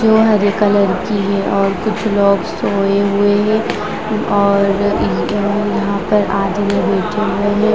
जो हरे कलर की है और कुछ लोग सोये हुए है और यहाँ पर आधे लोग बैठे हुए है।